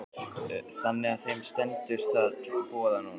Elísabet: Þannig að þeim stendur það til boða núna?